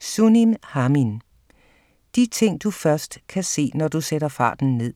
Sunim, Haemin: De ting du først kan se, når du sætter farten ned